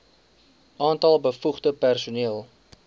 aantal bevoegde personeel